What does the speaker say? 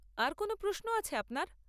আর কোন প্রশ্নও আছে আপনার?